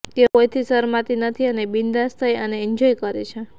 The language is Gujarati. તેઓ કોઈથી શરમાતી નથી અને બિન્દાસ થઈ અને એન્જોય કરે છે